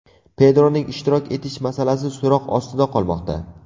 Pedroning ishtirok etish masalasi so‘roq ostida qolmoqda.